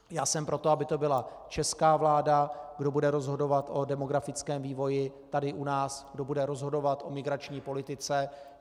Já jsem pro to, aby to byla česká vláda, kdo bude rozhodovat o demografickém vývoji tady u nás, kdo bude rozhodovat o migrační politice.